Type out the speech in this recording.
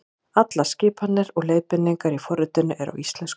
Allar skipanir og leiðbeiningar í forritinu eru á íslensku.